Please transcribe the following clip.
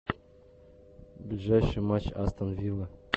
ближайший матч астон вилла